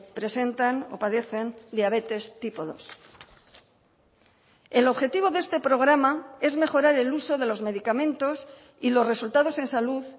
presentan o padecen diabetes tipo dos el objetivo de este programa es mejorar el uso de los medicamentos y los resultados en salud